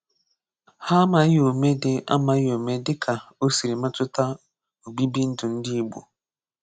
Ha amaghì ome dị amaghì ome dị ka o siri metụta obibindù ndị Ị̀gbò.